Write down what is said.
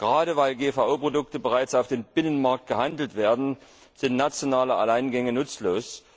Gerade, weil GVO Produkte bereits auf dem Binnenmarkt gehandelt werden, sind nationale Alleingänge nutzlos.